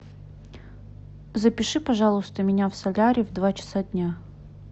запиши пожалуйста меня в солярий в два часа дня